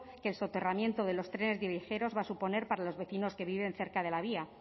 que el soterramiento de los trenes de viajeros va a suponer para los vecinos que viven cerca de la vía